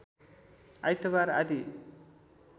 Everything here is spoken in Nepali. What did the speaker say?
आइतवार आदि